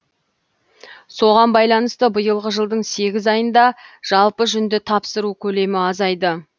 соған байланысты биылғы жылдың сегіз айында жалпы жүнді тапсыру көлемі азайды